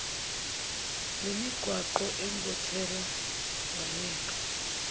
lemigwaqo engothela wayeka